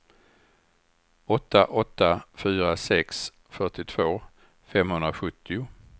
åtta åtta fyra sex fyrtiotvå femhundrasjuttio